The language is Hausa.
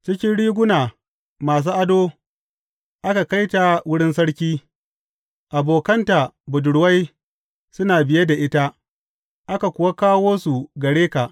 Cikin riguna masu ado aka kai ta wurin sarki; abokanta budurwai suna biye da ita aka kuwa kawo su gare ka.